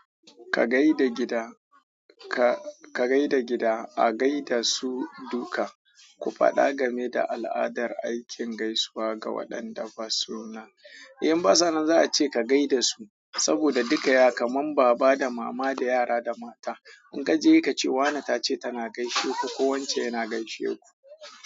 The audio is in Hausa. Ka gaida gida, ka, ka gaida gida, a gaida su duka. Ku faɗa game da al'adar aikin gaisuwa ga waɗanda ba suna. In basa nan za a ce ka gaida su, saboda duka ya kaman baba da mama da yara da mata. In ka je ka ce wane ta ce tana gaishe ku ko wance yana gaishe ku.